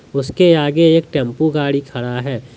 उसके आगे एक टेम्पु गाड़ी खड़ा है।